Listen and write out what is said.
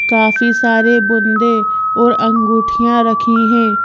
काफी सारे बुंदे और अंगूठियां रखी हैं।